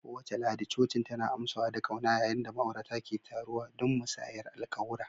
Kowace Lahadi, cocin tana amsawa da ƙauna yayin da ma'aurata ke taruwa don musayar alƙawura.